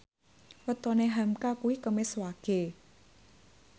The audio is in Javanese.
wetone hamka kuwi Kemis Wage